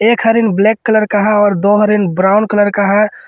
एक हिरन black colour का है और दो हिरन ब्राउन कलर का है।